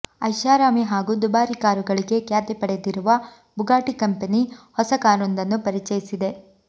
ಐಷಾರಾಮಿ ಹಾಗೂ ದುಬಾರಿ ಕಾರುಗಳಿಗೆ ಖ್ಯಾತಿ ಪಡೆದಿರುವ ಬುಗಾಟಿ ಕಂಪೆನಿ ಹೊಸ ಕಾರೊಂದನ್ನು ಪರಿಚಯಿಸಿದೆ